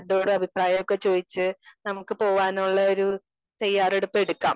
Speaker 2 എല്ലാരിനോടും അഭിപ്രായങ്ങളൊക്കെ ചോയ്ച്ച് നമുക്ക് പോവാനോ ഉള്ള ഒരു തയ്യാറെടുപ്പ് എടുക്കാം.